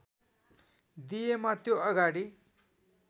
दिएमा त्यो अगाडि